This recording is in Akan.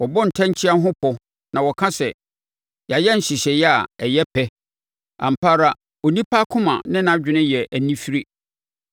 Wɔbɔ atɛnkyea ho pɔ na wɔka sɛ, “Yɛayɛ nhyehyɛeɛ a ɛyɛ pɛ!” Ampa ara onipa akoma ne nʼadwene yɛ anifire.